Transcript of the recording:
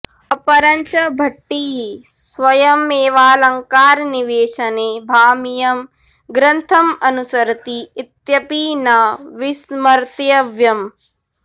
अपरञ्च भट्टिः स्वयमेवालङ्कारनिवेशने भामहीयं ग्रन्थमनुसरति इत्यपि न विस्मर्तव्यम्